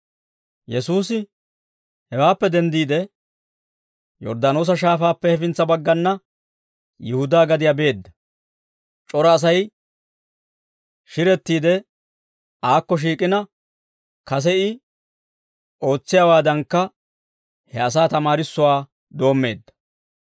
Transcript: Yesuusi hewaappe denddiide, Yorddaanoosa Shaafaappe hefintsa baggana Yihudaa gadiyaa beedda. C'ora Asay shirettiide aakko shiik'ina, kase I ootsiyaawaadankka he asaa tamaarissuwaa doommeedda.